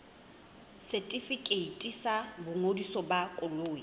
setefikeiti sa boingodiso ba koloi